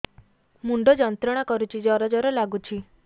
ମୁଣ୍ଡ ଯନ୍ତ୍ରଣା କରୁଛି ଜର ଜର ଲାଗୁଛି